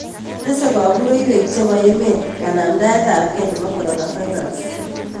Tese kabureiywek chepo emeet kanamdaetapkei nepo coronavirus